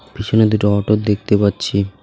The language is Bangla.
পিছনে দুটো অটো দেখতে পাচ্ছি .